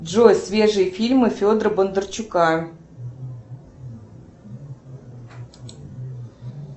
джой свежие фильмы федора бондарчука